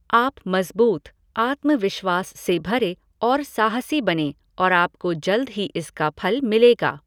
आप मज़बूत, आत्मविश्वास से भरे और साहसी बनें और आपको जल्द ही इसका फ़ल मिलेगा।